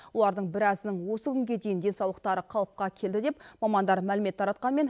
олардың біразының осы күнге дейін денсаулықтары қалыпқа келді деп мамандар мәлімет таратқанмен